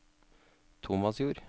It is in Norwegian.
Tomasjord